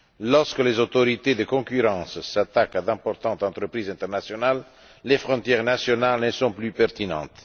Lorsque les autorités de la concurrence s'attaquent à d'importantes entreprises internationales, les frontières nationales ne sont plus pertinentes.